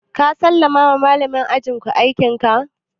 Ka sallama wa malamin ajin ku aikin ka?